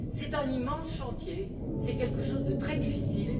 C'est un immense chantier, c'est quelque chose de très difficile.